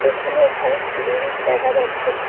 এখানে একটা বিরিজ দেখা যাচ্ছে।